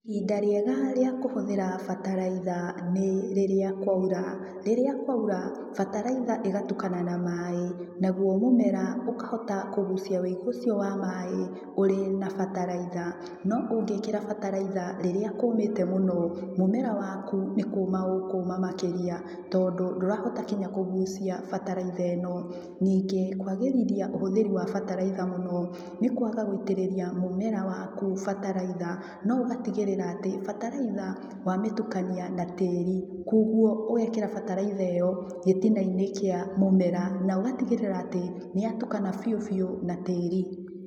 Ihinda rĩega rĩa kũhũthira bataraitha nĩ rĩrĩa kwaura. Rĩrĩa kwaura bataraitha ĩgatukana na maĩ naguo mũmera ũkahota kũgucĩa wũigo ũcio wa maĩ ũrĩ na bataraitha. No ũngĩkĩra bataraitha rĩrĩa kũmĩte mũno mũmera waku nĩkũma ũkũma makĩria tondũ ndũrahota nginya kũgucia bataraitha ĩno. Ningĩ kwagĩrithia ũhũthĩri wa bataraitha mũno nĩ kwaga gũitĩrĩrĩa mũmera waku bataraitha, no ũgatigĩrĩra atĩ bataraitha wamĩtukania na tĩri kwoguo ũgekĩra bataraitha ĩno gĩtina inĩ kĩa mũmera na ũgatigĩrĩra atĩ nĩyatukana bĩũ bĩũ na tĩri.